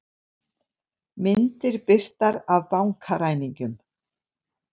Myndir birtar af bankaræningjum